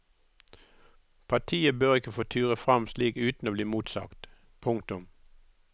Partiet bør ikke få ture frem slik uten å bli motsagt. punktum